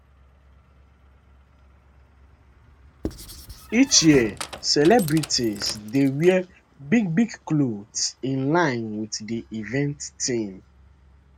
each year celebrities dey wear bigbig clothes in line wit di event theme